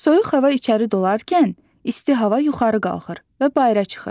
Soyuq hava içəri dolarkən isti hava yuxarı qalxır və bayıra çıxır.